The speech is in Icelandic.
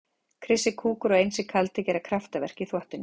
Krissi kúkur og Einsi kaldi gera kraftaverk í þvottinum.